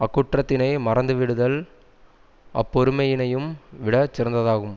அக்குற்றத்தினை மறந்துவிடுதல் அப்பொறுமையினையும் விட சிறந்ததாகும்